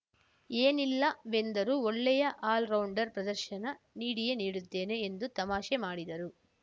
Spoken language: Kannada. ಏನಿಲ್ಲವೆಂದರೂ ಒಳ್ಳೆಯ ಆಲ್‌ರೌಂಡರ್‌ ಪ್ರದರ್ಶನ ನೀಡಿಯೇ ನೀಡುತ್ತೇನೆ ಎಂದು ತಮಾಷೆ ಮಾಡಿದ್ದಾರೆ